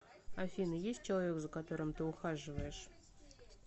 афина есть человек за которым ты ухаживаешь